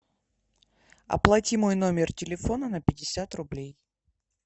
оплати мой номер телефона на пятьдесят рублей